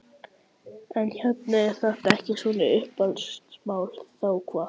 En hérna ef þetta er ekki svona uppeldismál, þá hvað?